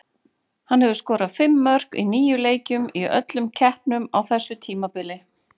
Hann hefur skorað fimm mörk í níu leikjum í öllum keppnum á þessu tímabili.